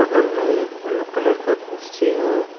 बगल में एक ब्लू कलर का कुर्सी है।